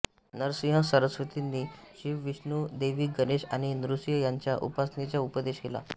नरसिंह सरस्वतींनी शिव विष्णू देवी गणेश आणि नृसिंह यांच्या उपासनेचा उपदेश केला